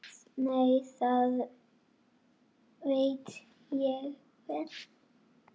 Lalli elti hann.